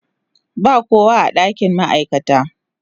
Ba kowa a dakin ma'aikata.